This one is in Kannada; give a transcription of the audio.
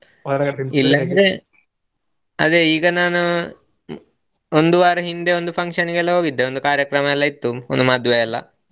ಇಲ್ಲಾಂದ್ರೆ ಅದೇ ಈಗ ನಾನು ಮ್~ ಒಂದು ವಾರ ಹಿಂದೆ ಒಂದು function ಗೆಲ್ಲ ಹೋಗಿದ್ದೆ ಒಂದು ಕಾರ್ಯಕ್ರಮ ಎಲ್ಲಾ ಇತ್ತು ಒಂದ್ ಮದ್ವೆ ಎಲ್ಲಾ.